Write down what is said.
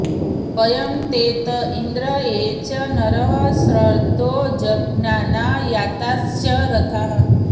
वयं ते त इन्द्र ये च नरः शर्धो जज्ञाना याताश्च रथाः